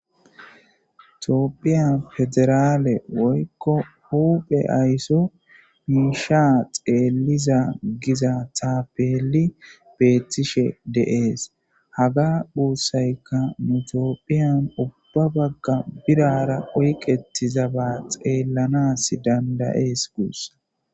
itoophiya federaale woykko huphe aysso miiisha xeelliza giza taapeli beettishe deees haga puussayka nutoophiyan ubba bagga birara oyqettiza ba xeellanas dandayees guus